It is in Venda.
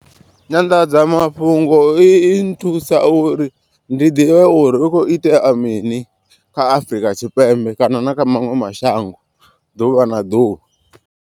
Nyanḓadzamafhungo i nthusa uri ndi ḓivhe uri hu kho itea mini kha Afurika Tshipembe kana na kha maṅwe mashango ḓuvha na ḓuvha.